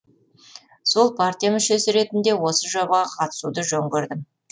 сол партия мүшесі ретінде осы жобаға қатысуды жөн көрдім